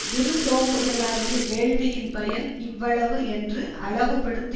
விருந்தோம்புதலாகிய வேள்வியின் பயன் இவ்வளவு என்று அளவு படுத்தி